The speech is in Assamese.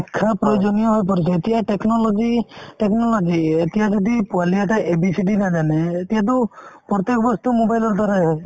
শিক্ষা প্ৰয়োজনীয় হৈ পৰিছে এতিয়া technology technology এতিয়া যদি পোৱালিহঁতে ABCD নাজানে এতিয়াতো প্ৰত্যেক বস্তু mobile ৰ দ্বাৰাই হয়